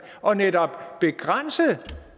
og netop begrænse